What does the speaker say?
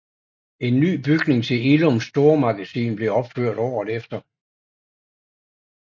En ny bygning til Illums stormagasin blev opført året efter